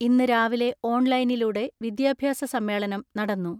ഇന്ന് രാവിലെ ഓൺലൈനിലൂടെ വിദ്യാഭ്യാസ സമ്മേളനം നടന്നു.